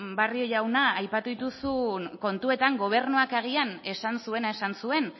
bueno barrio jauna aipatu dituzun kontuetan gobernuak agian esan zuena esan zuen